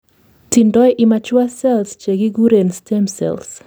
tindoi immature cells chekikuren stem cells